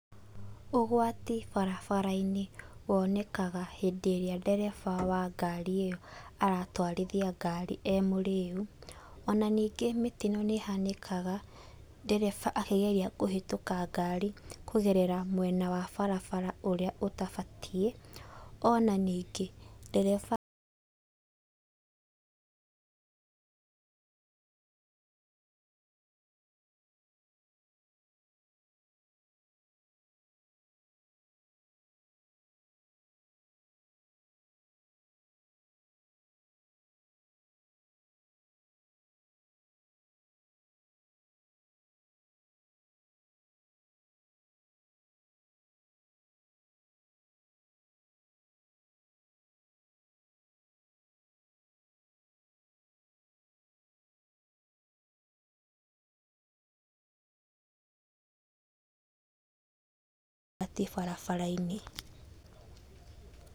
Ũgwati barabara-inĩ wonekaga hĩndĩ ĩrĩa ndereba wa ngari ĩyo aratwarithia ngari e-mũrĩu. Ona ningĩ mĩtino nĩhanĩkaga ndereba akĩgeria kũhĩtũka ngari kũgerera mwena wa barabara ũrĩa ũtabatiĩ. Ona ningĩ, ndereba pause athiĩ barabara-inĩ.